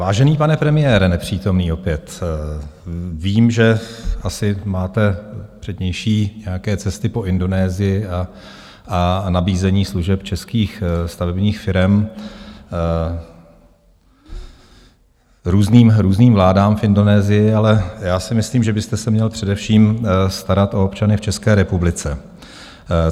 Vážený pane premiére, nepřítomný opět, vím, že asi máte přednější nějaké cesty po Indonésii a nabízení služeb českých stavebních firem různým vládám v Indonésii, ale já si myslím, že byste se měl především starat o občany v České republice.